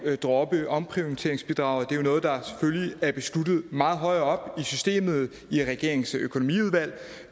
at droppe omprioriteringsbidraget det er jo noget der selvfølgelig er besluttet meget højere i systemet i regeringens økonomiudvalg